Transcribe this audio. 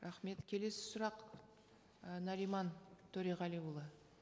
рахмет келесі сұрақ і нариман төреғалиұлы